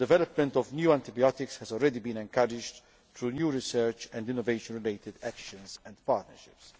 The development of new antibiotics has already been encouraged through new research and innovation related actions and partnerships.